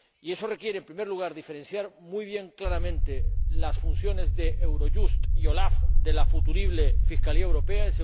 Y eso requiere, en primer lugar, diferenciar muy bien, claramente, las funciones de Eurojust y la OLAF de las de la futurible Fiscalía Europea